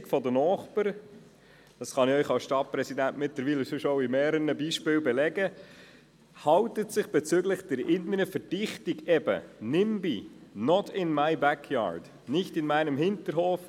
Die Begeisterung der Nachbarn – das kann ich Ihnen als Stadtpräsident mittlerweile anhand mehrerer Beispiele belegen – hält sich bezüglich der inneren Verdichtung extrem in Grenzen, eben im Sinne von «Nimby» – «Not in my backyard», nicht in meinem Hinterhof.